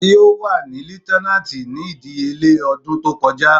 Ti o wà ni leuitenant ni idiyele odun to koja